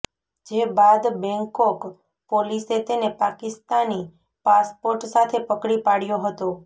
જે બાદ બેંકોક પોલીસે તેને પાકિસ્તાની પાસપોર્ટ સાથે પકડી પાડ્યો હતો